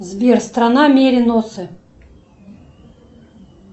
сбер страна мериносы